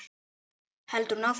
heldur hún áfram.